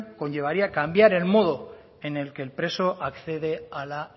conllevaría cambiar el modo en el que el preso accede a la